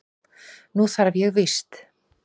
Nú þarf ég víst.